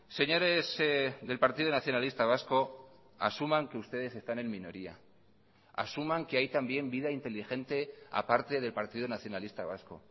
señores del partido nacionalista vasco asuman que ustedes están en minoría asuman que hay también vida inteligente aparte del partido nacionalista vasco